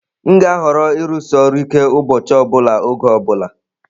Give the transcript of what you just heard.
M ga-ahọrọ ịrụsi ọrụ ike ụbọchị ọ bụla oge ọ bụla.